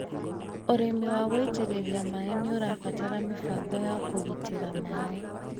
ũrĩmi wa gũitĩrĩria maĩ nĩũrabatara mĩbango ya kũgĩtĩra maĩ